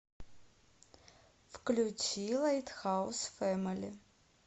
включи лайтхаус фэмили